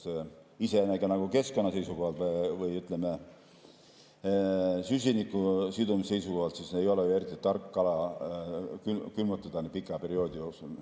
See iseenesest ka keskkonna seisukohalt või süsiniku sidumise seisukohalt ei ole ju eriti tark, kala külmutada pika perioodi jooksul.